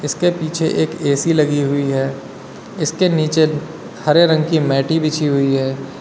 इसके पीछे एक ऐ_सी लगी हुई है इसके नीचे हरे रंग की मैटी बिछी हुई है।